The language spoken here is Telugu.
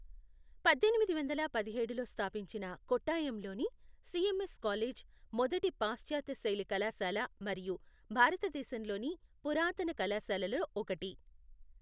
పద్దెనిమిది వందల పదిహేడులో స్థాపించిన కొట్టాయంలోని సిఎంఎస్ కాలేజ్, మొదటి పాశ్చాత్య శైలి కళాశాల మరియు భారతదేశంలోని పురాతన కళాశాలలలో ఒకటి.